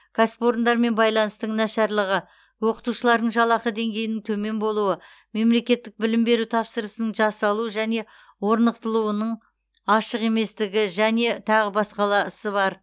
кәсіпорындармен байланыстың нашарлығы оқытушылардың жалақы деңгейінің төмен болуы мемлекеттік білім беру тапсырысының жасалу және орналастырылуының ашық еместігі және тағы басқаласы бар